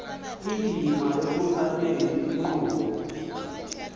indima ekuxhaseni inkqubo